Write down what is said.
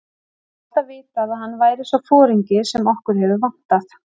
Ég hef alltaf vitað að hann væri sá foringi sem okkur hefur vantað.